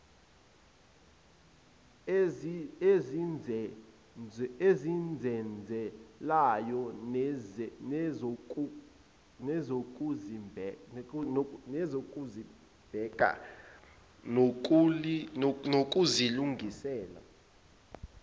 ezizenzelayo nezokuzibheka nokuzilungisela